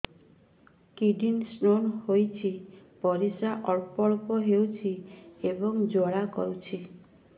kidney stone ହୋଇଛି ପରିସ୍ରା ଅଳ୍ପ ଅଳ୍ପ ହେଉଛି ଏବଂ ଜ୍ୱାଳା କରୁଛି